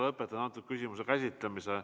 Lõpetan selle küsimuse käsitlemise.